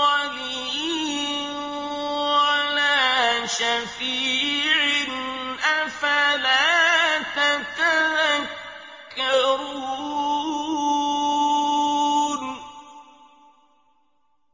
وَلِيٍّ وَلَا شَفِيعٍ ۚ أَفَلَا تَتَذَكَّرُونَ